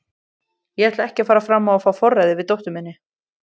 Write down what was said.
Ég ætla ekki að fara fram á að fá forræðið yfir dóttur minni.